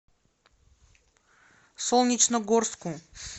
солнечногорску